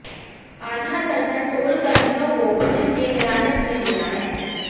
आधा दर्जन टोल कर्मियों को पुलिस ने हिरासत में लिया है